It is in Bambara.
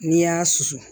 N'i y'a susu